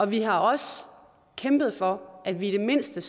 vi har også kæmpet for at vi i det mindste